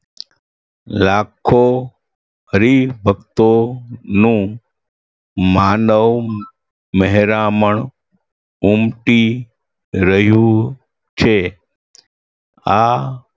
લાખો હરિભક્તોનું માનવ મહેરામણ ઉમટી રહ્યું છે આ